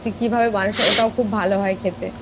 তুই কিভাবে বানাস ওটাও খুব ভালো হয় খেতে।